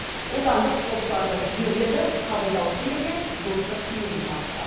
отандық спортшыларды жігерлендіріп қабылдаушы елге достық пейілін танытты